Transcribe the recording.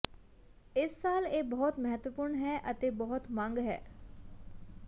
ਇਸ ਸਾਲ ਇਹ ਬਹੁਤ ਮਹੱਤਵਪੂਰਣ ਹੈ ਅਤੇ ਬਹੁਤ ਮੰਗ ਹੈ